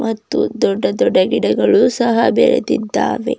ಮತ್ತು ದೊಡ್ಡ ದೊಡ್ಡ ಗಿಡಗಳು ಸಹ ಬೇಳೆದಿದ್ದಾವೆ.